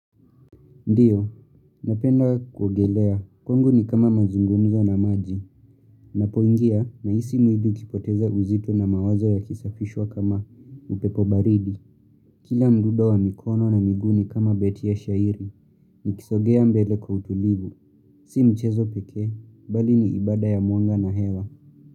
Ndiyo, napenda kuogelea, kwangu ni kama mazungumzo na maji, Ninapoingia nahisi mwili ukipoteza uzito na mawazo ya kisafishwa kama upepobaridi, kila mdudo wa mikono na miguni kama beti ya shairi, nikisogea mbele kwa utulivu, si mchezo pekee, bali ni ibada ya mwanga na hewa.